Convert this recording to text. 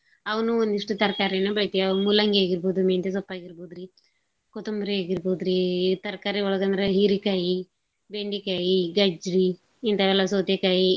ಅವ್ನೂ ಒಂದಿಷ್ಟು ತರ್ಕಾರಿಗಳನ್ನೂ ಬೆಳಿತಿವ್. ಅ ಮೂಲಂಗಿ ಆಗಿರ್ಬೋದು ಮೆಂತೆಸೊಪ್ಪಾಗಿರ್ಬೋದು ಕೊತುಂಬ್ರಿ ಆಗಿರ್ಬೋದ್ರೀ ತರ್ಕಾರಿ ಒಳಗಂದ್ರ ಹೀರಿಕಾಯಿ, ಬೆಂಡಿಕಾಯಿ ಗಜ್ಜರಿ ಹಿಂತಾವೆಲ್ಲಾ ಸೌತೇಕಾಯಿ.